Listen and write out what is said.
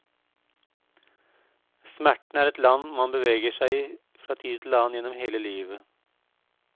Smerten er et land man beveger seg i fra tid til annen igjennom hele livet.